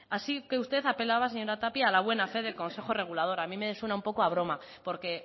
así que usted apelaba señora tapia a la buena fe del consejo regulador a mí me suena un poco a broma porque